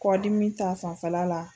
Kɔ dimi ta fanfɛla la.